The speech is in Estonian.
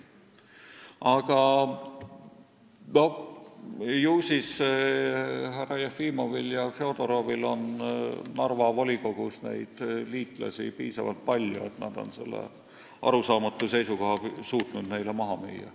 Aga ju siis härra Jefimovil ja härra Fjodorovil on Narva volikogus piisavalt palju liitlasi, kellele nad on selle arusaamatu seisukoha suutnud maha müüa.